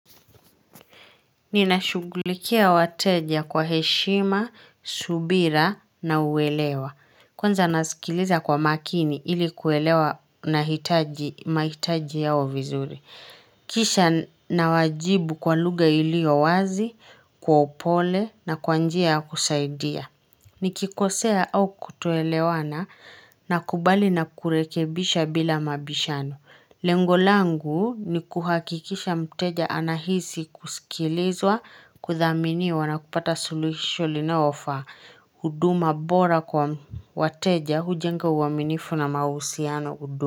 Ninashughulikia wateja kwa heshima, subira na uwelewa. Kwanza nasikiliza kwa makini ili kuelewa na hitaji, mahitaji yao vizuri. Kisha nawajibu kwa lugha ilio wazi, kwa upole na kwa njia kusaidia. Nikikosea au kutoelewana na kubali na kurekebisha bila mabishano. Lengo langu ni kuhakikisha mteja anahisi kusikilizwa kuthaminiwa na kupata suluhisho linalofa huduma bora kwa wateja hujenga uwaminifu na mahusiano.